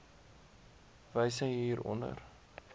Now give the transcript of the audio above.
wyse hier onder